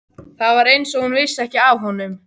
Það var eins og hún vissi ekki af honum.